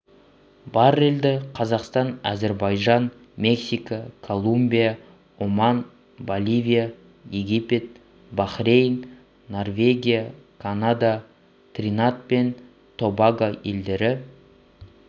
баррельді қазақстан әзірбайжан мексика колумбия оман боливия египет бахрейн норвегия канада тринад пен тобаго елдері